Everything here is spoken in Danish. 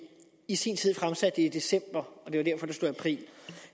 i sin tid fremsatte det i december og det var derfor der stod april